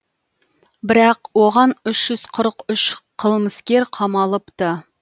бірақ оған үш жүз қырық үш қылмыскер қамалыпты